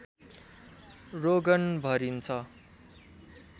रोगन भरिन्छ